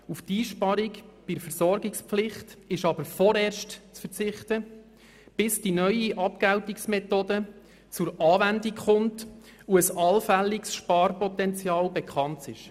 Auf die Einsparung bei der Versorgungspflicht ist aber vorerst zu verzichten, bis die neue Abgeltungsmethode zur Anwendung kommt und ein allfälliges Sparpotenzial bekannt ist.